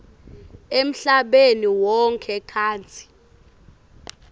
emhlabeni wonkhe kantsi